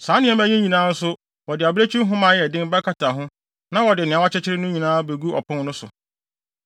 Saa nneɛma yi nyinaa nso wɔde abirekyi nhoma a ɛyɛ den bɛkata ho na wɔde nea wɔakyekyere no nyinaa abegu ɔpon no so.